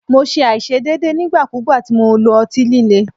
Mo ṣe aiṣedeede nigbakugba ti Mo lo ọti-lile